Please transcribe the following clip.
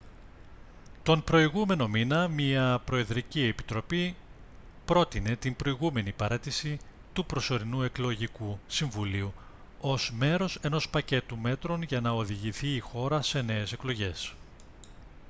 τον προηγούμενο μήνα μια προεδρική επιτροπή πρότεινε την προηγούμενη παραίτηση του προσωρινού εκλογικού συμβουλίου ως μέρος ενός πακέτου μέτρων για να οδηγηθεί η χώρα σε νέες εκλογές